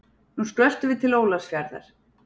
Nú skröltum við til Ólafsfjarðar.